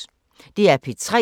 DR P3